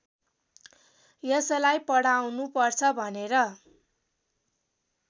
यसलाई पढाउनुपर्छ भनेर